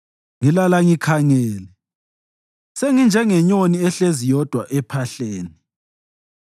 Ngilala ngikhangele; senginjengenyoni ehlezi yodwa ephahleni.